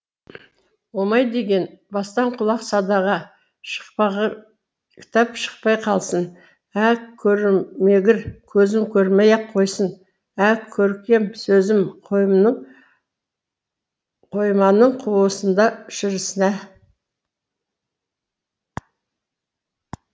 омай деген бастан құлақ садаға шықпағыр кітап шықпай қалсын ә көрмегір көзім көрмей ақ қойсын ә көркем сөзім қойманың қуысында шірісін ә